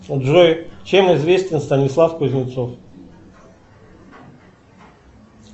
джой чем известен станислав кузнецов